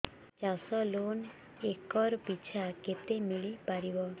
ଚାଷ loan acre ପିଛା କେତେ ମିଳି ପାରିବ